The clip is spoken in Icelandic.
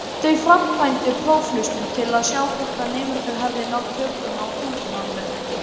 Þau framkvæmdu prófhlustun til að sjá hvort nemendur hefðu náð tökum á tungumálinu.